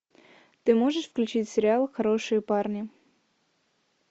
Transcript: ты можешь включить сериал хорошие парни